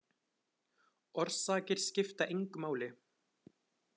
Orsakir skipta engu máli.